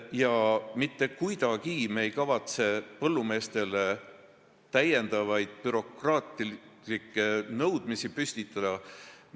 Me mitte kuidagi ei kavatse täiendavaid bürokraatlikke nõudmisi kehtestada.